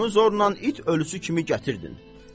Onu zornan it ölusu kimi gətirdin.